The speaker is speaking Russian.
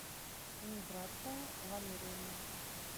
миграция валерьевна